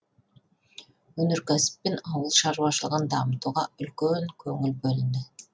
өнеркәсіп пен ауыл шаруашылығын дамытуға үлкен көңіл бөлінді